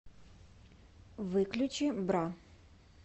выключи бра